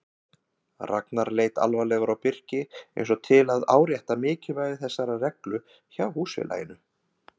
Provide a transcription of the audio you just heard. Ragnar leit alvarlegur á Birki eins og til að árétta mikilvægi þessarar reglu hjá húsfélaginu.